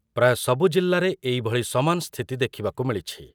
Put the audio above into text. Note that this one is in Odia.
ପ୍ରାୟ ସବୁ ଜିଲ୍ଲାରେ ଏଇଭଳି ସମାନ ସ୍ଥିତି ଦେଖିବାକୁ ମିଳିଛି ।